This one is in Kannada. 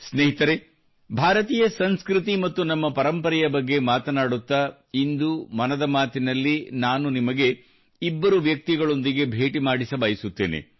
ಸ್ನೇಹಿತರೆ ಭಾರತೀಯ ಸಂಸ್ಕೃತಿ ಮತ್ತು ನಮ್ಮ ಪರಂಪರೆಯ ಬಗ್ಗೆ ಮಾತನಾಡುತ್ತಾ ಇಂದು ಮನದ ಮಾತಿನಲ್ಲಿ ನಾನು ನಿಮಗೆ ಇಬ್ಬರು ವ್ಯಕ್ತಿಗಳೊಂದಿಗೆ ಭೇಟಿ ಮಾಡಿಸಬಯಸುತ್ತೇನೆ